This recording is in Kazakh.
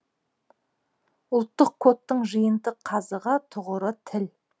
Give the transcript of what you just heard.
ұлттық кодтың жиынтық қазығы тұғыры тіл